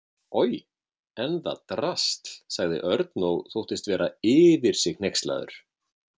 Oj, en það drasl sagði Örn og þóttist vera yfir sig hneykslaður.